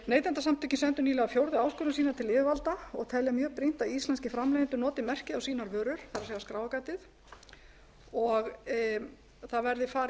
neytendasamtökin sendu nýlega fjórðu áskorun sína til yfirvalda og telja mjög brýnt að íslenskir framleiðendur noti merkið á sínar vörur það er skráargatið og það verði farið